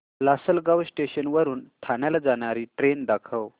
Lasalgaon station वरून ठाण्याला जाणारी ट्रेन दाखव